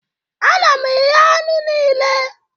Ana m eghe anụ niile